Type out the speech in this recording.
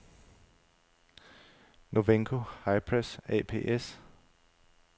Novenco Hi-Pres ApS